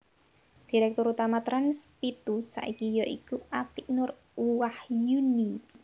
Direktur Utama Trans pitu saiki ya iku Atiek Nur Wahyuni